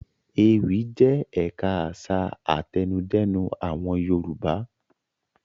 Ewì jẹ́ ẹ̀ka àṣà àtẹnudẹ́nu àwọn Yorùbá.